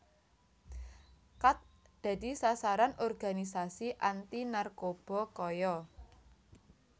Khat dadi sasaran organisasi anti narkoba kaya